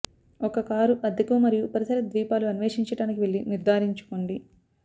ఒక కారు అద్దెకు మరియు పరిసర ద్వీపాలు అన్వేషించడానికి వెళ్ళి నిర్ధారించుకోండి